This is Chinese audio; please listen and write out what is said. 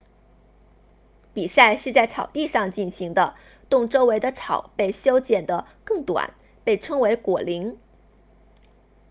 比赛是在草地上进行的洞周围的草被修剪得更短被称为果岭